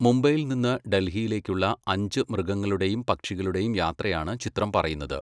മുംബൈയിൽ നിന്ന് ഡൽഹിയിലേക്കുള്ള അഞ്ച് മൃഗങ്ങളുടെയും പക്ഷികളുടെയും യാത്രയാണ് ചിത്രം പറയുന്നത്.